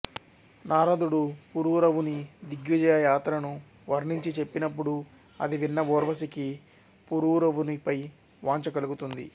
నారదుడు పురూరవుని దిగ్విజయ యాత్రను వర్ణించి చెప్పినప్పుడు అది విన్న ఊర్వశికి పురూరవునిపై వాంఛ కలుగుతుంది